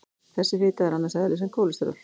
Þessi fita er annars eðlis en kólesteról.